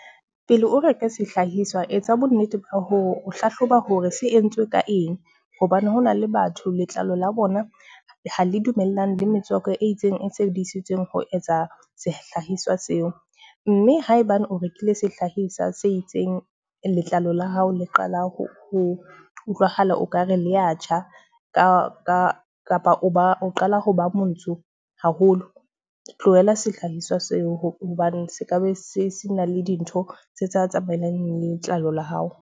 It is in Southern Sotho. Pele o reka sehlahiswa, etsa bonnete ba ho hlahloba hore se entswe ka eng? Hobane ho na le batho letlalo la bona ha le dumellane le metswako e itseng e sebedisitsweng ho etsa sehlahiswa seo. Mme ha ebane o rekile sehlahiswa se itseng, letlalo la hao le qala ho utlwahala okare le a tjha kapa o ba, o qala ho ba montsho haholo. Tlohela sehlahiswa seo hobane se kabe sena le dintho tse tsamaelang letlalo la hao.